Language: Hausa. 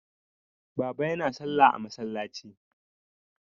Baba yana salla a masallaci.